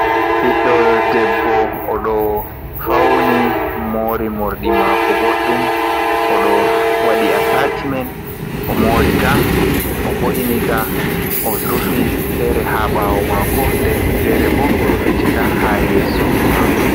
Ɓiddo debbo o ɗo fauni mori morɗi mako boɗɗum, o ɗo wadi atacimen o morika o vo’inika o rufi fere ha ɓawo mako, nden fere bo o rufitika ha yeso mako.